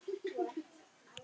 Baldvin var í öruggum höndum.